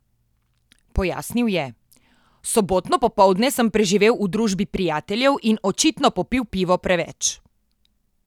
Pojasnil je: "Sobotno popoldne sem preživel v družbi prijateljev in očitno popil pivo preveč.